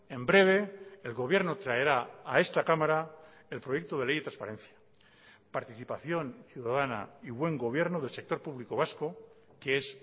en breve el gobierno traerá a esta cámara el proyecto de ley de transparencia participación ciudadana y buen gobierno del sector público vasco que es